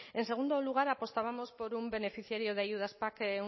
en segundo lugar apostábamos por un beneficiario de ayudas pac